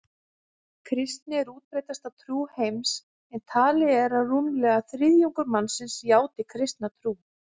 Kristni er útbreiddasta trú heims en talið er að rúmlega þriðjungur mannkyns játi kristna trú.